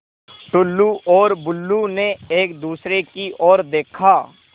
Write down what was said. टुल्लु और बुल्लु ने एक दूसरे की ओर देखा